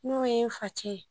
N'o ye n facɛ ye